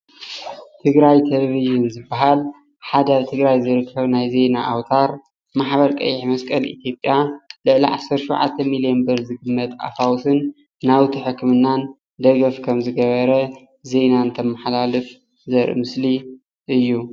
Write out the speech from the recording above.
ትግራይ ቴሌቭዥን ዝበሃል ፤ሓደ ኣብ ትግራይ ዝርከብ ናይ ዜና ኣውታር ማሕበር ቀይሕ መስቀል ኢትዮጵያ ልዕሊ ዓሰርተ ሸውዓተ ሚሊዮን ብር ዝግመት ኣፋውስን ናውቲ ሕክምናን ደገፍ ከም ዝገበረ ዜና እንተመሓላልፍ ዘርኢ ምስሊ እዩ። እዩ።